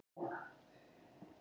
Starði ráðvillt í kringum sig.